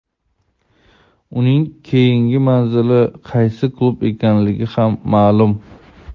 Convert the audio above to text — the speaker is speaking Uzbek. Uning keyingi manzili qaysi klub ekanligi ham ma’lum;.